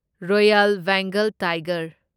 royal Bengal tiger